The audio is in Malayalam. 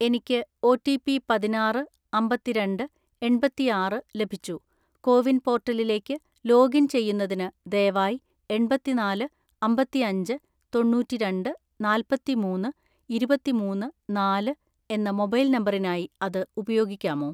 "എനിക്ക് ഒറ്റിപി പതിനാറ്‌ അമ്പത്തിരണ്ട് എണ്‍പത്തിആറ് ലഭിച്ചു, കോവിൻ പോർട്ടലിലേക്ക് ലോഗിൻ ചെയ്യുന്നതിന് ദയവായി എണ്‍പത്തിനാല് അമ്പത്തിഅഞ്ച് തൊണ്ണൂറ്റിരണ്ട് നാല്‍പത്തിമൂന്ന് ഇരുപത്തിമൂന്ന് നാല് എന്ന മൊബൈൽ നമ്പറിനായി അത് ഉപയോഗിക്കാമോ?"